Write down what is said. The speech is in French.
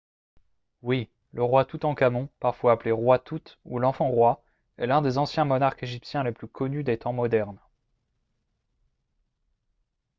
oui ! le roi toutankhamon parfois appelé « roi tout » ou « l’enfant roi » est l’un des anciens monarques égyptiens les plus connus des temps modernes